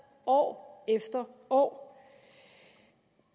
år efter år